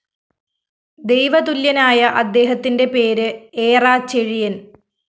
ദൈവതുല്യനായ അദ്ദേഹത്തിന്റെ പേര് ഏറാചെഴിയന്‍